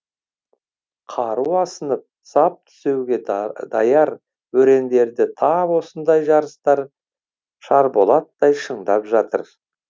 қару асынып сап түзеуге даяр өрендерді тап осындай жарыстар шарболаттай шыңдап жатыр